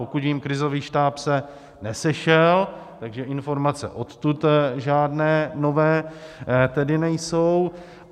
Pokud vím, krizový štáb se nesešel, takže informace odtud žádné nové tedy nejsou.